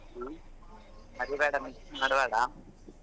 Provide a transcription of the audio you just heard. ಹ್ಮ್ ಮರಿಬೇಡಾ miss ಮಾಡ್ಬೇಡ.